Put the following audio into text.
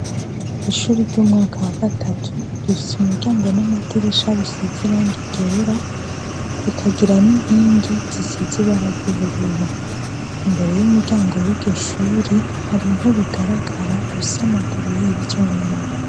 Ishuri ry’umwaka wa gatatu, rifis’umuryango n’amadirisha bisiz’irangi ryera, rikagira n’inkingi zisize ibara ry’ubururu. Imbere y’umuryango w’iryo shuri, har’intebe igaragara ifis’amaguru y’ivyuma.